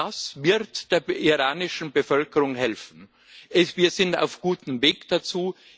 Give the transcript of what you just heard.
Das wird der iranischen Bevölkerung helfen. Wir sind auf gutem Weg dazu.